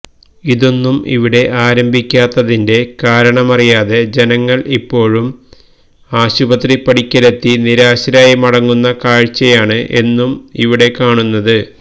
ഇതൊന്നും ഇവിടെ ആരംഭിക്കാത്തതിന്റെ കാരണമറിയാതെ ജനങ്ങള് ഇപ്പോഴും ആശുപത്രിപ്പടിക്കലെത്തി നിരാശരായി മടങ്ങുന്ന കാഴ്ചയാണ് എന്നും ഇവിടെ കാണുന്നത്